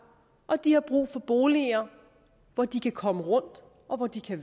og de har brug for boliger hvor de kan komme rundt og hvor de kan